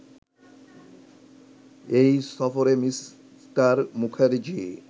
এই সফরে মি: মুখার্জি